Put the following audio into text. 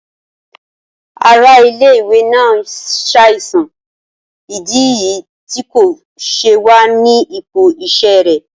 Ara ile-iwe naa n ṣaisan, idi niyi ti ko ṣe wa ni ipo iṣẹ rẹ.